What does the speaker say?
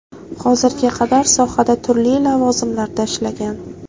Hozirga qadar sohada turli lavozimlarda ishlagan.